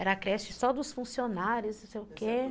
Era a creche só dos funcionários, não sei o quê.